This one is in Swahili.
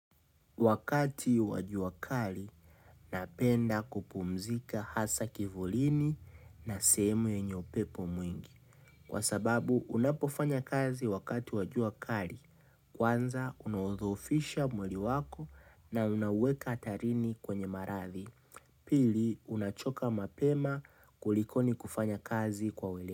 Wakati wa jua kali, napenda kupumzika hasa kivulini na sehemu yenye upepo mwingi. Kwa sababu, unapofanya kazi wakati wa jua kali. Kwanza, unadhoofisha mwili wako na unaweka hatarini kwenye maradhi. Pili, unachoka mapema kulikoni kufanya kazi kwa wele.